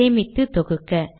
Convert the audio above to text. சேமித்து தொகுக்க